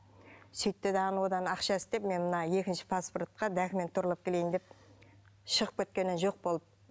сөйтті дағыны одан ақша істеп мен мына екінші паспортқа документ туралап келейін деп шығып кеткеннен жоқ болып